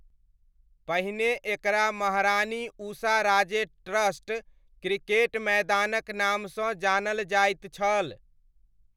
पहिने एकरा महारानी उषाराजे ट्रस्ट क्रिकेट मैदानक नामसँ जानल जाइत छल।